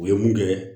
U ye mun kɛ